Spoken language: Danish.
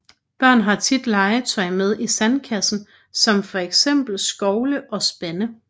Børn har tit legetøj med i sandkassen som for eksempel skovle og spande